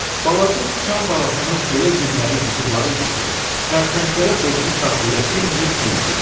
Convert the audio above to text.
Balaca sıçan balasının elə gülməli üzü var idi ki, kərtənkələ özünü saxlaya bilməyib güldü.